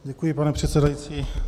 Děkuji, pane předsedající.